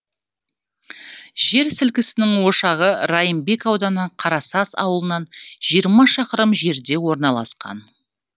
жер сілкінісінің ошағы райымбек ауданы қарасаз ауылынан жиырма шақырым жерде орналасқан